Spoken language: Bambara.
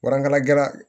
Warankala jalan